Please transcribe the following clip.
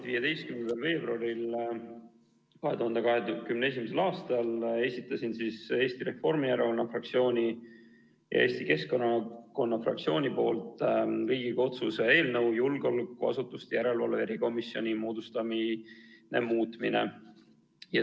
15. veebruaril 2021. aastal esitasin Eesti Reformierakonna fraktsiooni ja Eesti Keskerakonna fraktsiooni nimel Riigikogu otsuse "Julgeolekuasutuste järelevalve erikomisjoni moodustamine" muutmine" eelnõu.